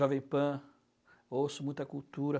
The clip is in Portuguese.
Jovem Pan, eu ouço muita cultura.